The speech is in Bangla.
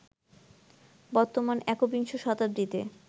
বর্তমান একবিংশ শতাব্দীতে